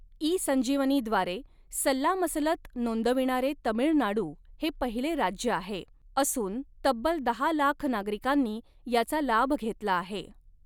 E Sanjeevani द्वारे सल्लामसलत नोंदविणारे तमिळनाडू हे पहिले राज्य आहे, असूऩ तब्बल दहा लाख नागरीकांनी याचा लाभ घेतला आहे.